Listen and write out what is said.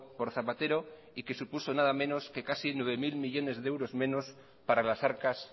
por zapatero y que supuso nada menos que casi nueve mil millónes de euros menos para las arcas